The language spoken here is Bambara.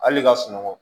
Hali ka sunɔgɔ